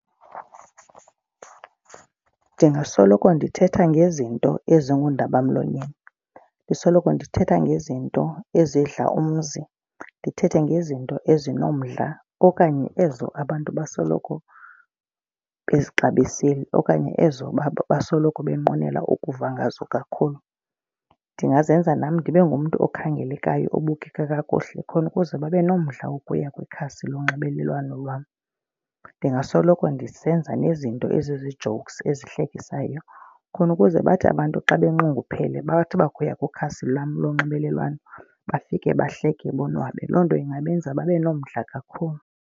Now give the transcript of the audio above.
Ndingasoloko ndithetha ngezinto ezingundabamlonyeni. Ndisoloko ndithetha ngezinto ezidla umzi, ndithethe ngezinto ezinomdla okanye ezo abantu basoloko bezixabisile okanye ezo basoloko benqwenele ukuva ngazo kakhulu. Ndingazenza nam ndibe ngumntu okhangelekayo ebukeka kakuhle khona ukuze babe nomdla wokuya kwikhasi lonxibelelwano lwam. Ndingasoloko ndisenza nezinto ezizi-jokes, ezihlekisayo khona ukuze bathi abantu xa banxunguphele bathi bakuya kwikhasi lam lonxibelelwano bafike bahleke bonwabe. Loo nto ingabenza babe nomdla kakhulu.